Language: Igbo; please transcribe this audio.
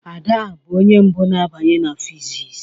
Ada bụ onye mbụ na-abanye na physics.